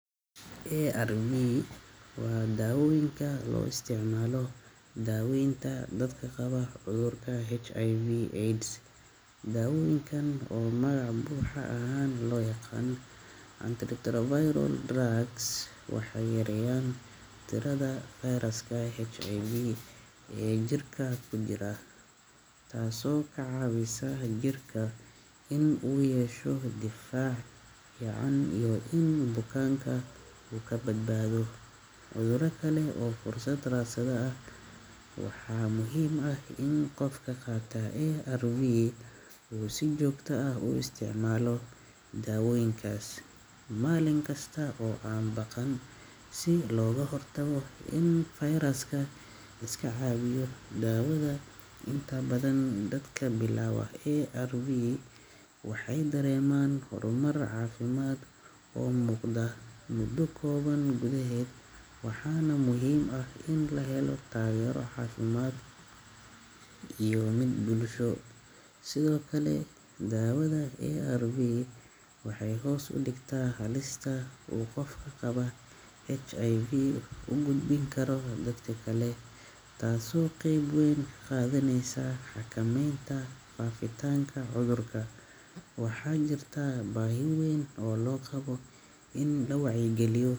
Arv waa daawoyinka loo isticmaalo daaweynta dadka qabo cudurka HIv/AUDS, daawoyinkan oo magaca buuxo ahan loo yaqaano antiretroviral drugs waxay yareeyan tirada feyrasska Hiv ee jirka kujiraa taaso ka caawisa jirka in uu yeesho difaac fican iyo in bukanka uu kabadbaado cudura kale oo fursad rasada ah, waxaa muhiim in qofka qaata Arv uu si jogta ah u isticmaalo daawoyinkaas malin kista oo an baqan si loga hortaga in feyraska si liska caawiyo, idaawada nta badan dadka bilawa Arv waxay dareeman horumar caafimad oo muqda muda koban gudehed waxana muhiim ah in lahelo taagero caafimad iyo mid bulsho sidokale Daawada arv waxay hoos udhigta halista uu qofka qabo hiv ugudbin karoo dadka kale taaso qeb weyn kaqadaneysa xakameynta faafitanka cudurka, waxa jirta baahi weyn oo qabo in la wacyi geiyo